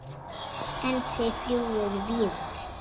En þið fljúgið víðar?